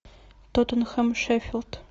тоттенхэм шеффилд